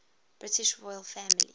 british royal family